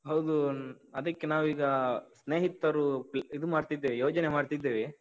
ಹೌದು, ಅದಕ್ಕೆ ನಾವೀಗಾ ಸ್ನೇಹಿತರೂ ಇದು ಮಾಡ್ತಿದ್ದೇವೆ, ಯೋಜನೆ ಮಾಡ್ತಿದ್ದೇವೆ.